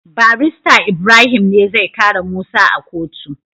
barista ibrahim ne zai kare musa a kotu